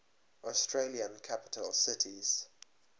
australian capital cities